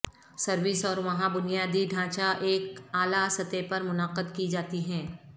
service اور وہاں بنیادی ڈھانچہ ایک اعلی سطح پر منعقد کی جاتی ہیں